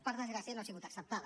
per desgràcia no ha sigut acceptada